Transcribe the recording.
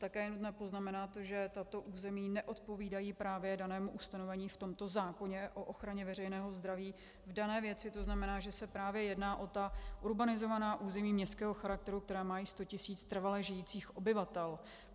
Také je nutno poznamenat, že tato území neodpovídají právě danému ustanovení v tomto zákoně o ochraně veřejného zdraví v dané věci, to znamená, že se právě jedná o ta urbanizovaná území městského charakteru, která mají 100 tisíc trvale žijících obyvatel.